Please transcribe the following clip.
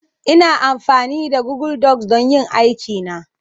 Ina amfani da Google docs don yin aikina